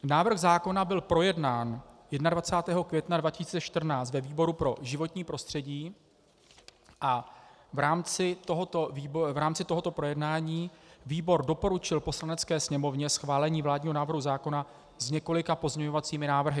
Návrh zákona byl projednán 21. května 2014 ve výboru pro životní prostředí a v rámci tohoto projednání výbor doporučil Poslanecké sněmovně schválení vládního návrhu zákona s několika pozměňovacími návrhy.